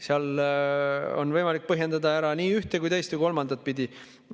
Seda on võimalik põhjendada nii ühte kui ka teist või kolmandat pidi.